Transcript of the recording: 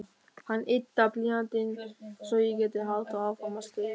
Hann yddar blýantinn svo ég geti haldið áfram að skrifa.